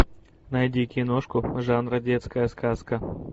найди киношку жанра детская сказка